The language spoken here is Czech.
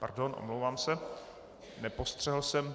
Pardon, omlouvám se, nepostřehl jsem.